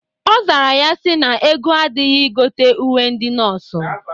Ọ zara ya sị na ego adịghị igote uwe ndị nọọsụ.